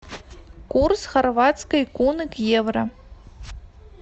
курс хорватской куны к евро